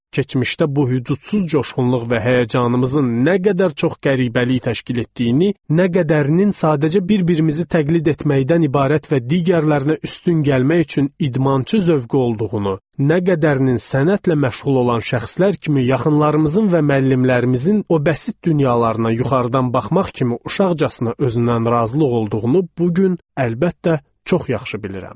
Keçmişdə bu hüdudsuz coşqunluq və həyəcanımızın nə qədər çox qəribəlik təşkil etdiyini, nə qədərinin sadəcə bir-birimizi təqlid etməkdən ibarət və digərlərinə üstün gəlmək üçün idmançı zövqü olduğunu, nə qədərinin sənətlə məşğul olan şəxslər kimi yaxınlarımızın və müəllimlərimizin o bəsit dünyalarına yuxarıdan baxmaq kimi uşaqcasına özündən razılıq olduğunu bu gün əlbəttə çox yaxşı bilirəm.